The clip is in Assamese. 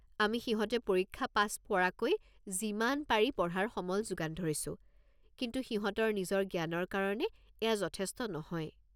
আমি সিহঁতে পৰীক্ষা পাছ পৰাকৈ যিমান পাৰি পঢ়াৰ সমল যোগান ধৰিছো, কিন্তু সিহঁতৰ নিজৰ জ্ঞানৰ কাৰণে এয়া যথেষ্ট নহয়।